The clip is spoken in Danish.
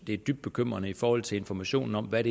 det er dybt bekymrende i forhold til informationen om hvad